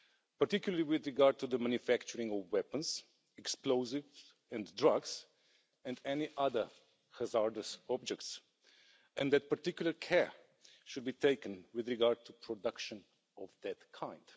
particularly with regard to the manufacturing of weapons, explosives and drugs, and any other hazardous objects, and that particular care should be taken with regard to production of that kind.